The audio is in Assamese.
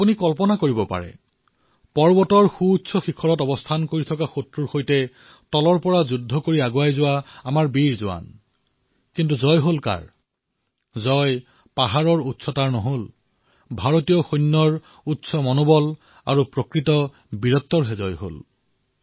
আপোনালোকে কল্পনা কৰিব পাৰে ওখ পাহাৰত বহি থকা শত্ৰু আৰু তলৰ পৰা যুদ্ধৰত আমাৰ সেনা আমাৰ বীৰ জোৱান কিন্তু পাহাৰৰ উচ্চতা নহয় ভাৰতৰ সেনানীৰ সুউচ্চ উৎসাহ আৰু প্ৰকৃত বীৰত্বৰ জয় হল